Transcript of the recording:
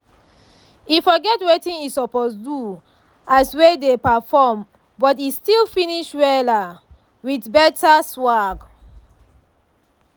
e forget wetin e suppose do as wey dey perform but e still finish wella with better swag